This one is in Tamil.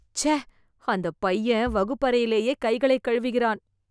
ச்ச அந்த பையன் வகுப்பறையிலேயே கைகளைக் கழுவுகிறான்